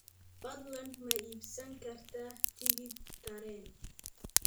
fadlan ma ii iibsan kartaa tigidh tareen